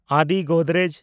Adi Godrej